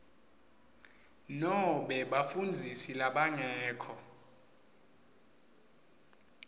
nobe bafundzisi labangekho